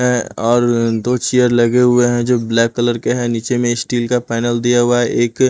है और दो चेयर लगे हुए हैं जो ब्लैक कलर के हैं नीचे में स्टील का पैनल दिया हुआ है एक--